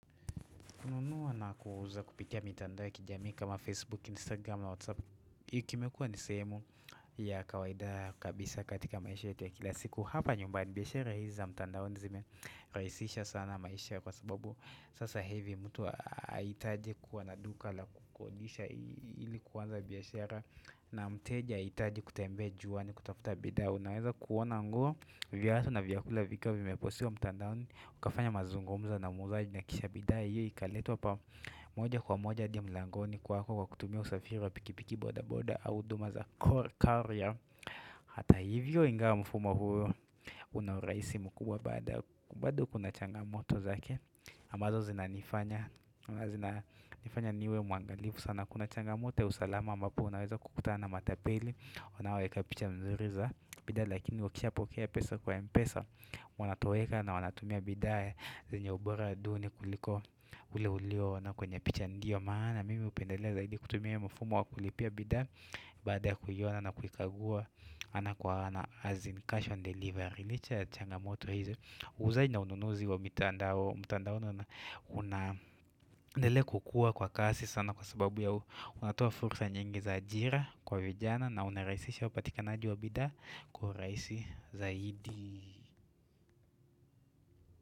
Kununua na kuuza kupitia mitandao ya kijamii kama Facebook, Instagram, Whatsapp. HiI kimekua ni sehemu ya kawaida kabisa katika maisha yetu ya kila siku. Hapa nyumbani biashara hizi za mtandaoni zime raHisisha sana maisha kwa sababu. Sasa hIvi mtu aitaj kuwa na duka la kukodisha ili kuanza biashara na mteja aitaji kutembea juani kutafuta bidha. Unaweza kuona nguo viatu na vyakula vikiwa vimepostiwa mtandaoni ukafanya mazungumzo na muuzaji na kisha bidhaa hiyo Ikaletwa pa moja kwa moja hadi mlangoni kwako kwa kutumia usafiri wa pikipiki boda boda au huduma za core carier Hata hivyo ingawa mfumo huo Unauraisi mkubwa baada kubado kuna changamoto zake ambazo zinanifanya niwe mwangalifu sana kuna changamoto ya usalama ambapo unaweza kukutana matapele wanaoweka picha nzuri za bidha lakini wakishapokea pesa kwa mpesa wanatoweka na wanatumia bidhaa zenye ubora duni kuliko ule ulio ona kwenye picha ndio maana mimi upendelea zaidi kutumia mfumo wakulipia bidhaa baada ya kuiona na na kuikagua ana kwa ana as in cash on delivery licha ya changamoto hizi uuzaji na ununuzi wa mtandaoni unaendelea kukua kwa kasi sana kwa sababu ya unatoa furusa nyingi za ajira kwa vijana na unaraisisha upatikanaji wabidha Kwa uraisi zaidi.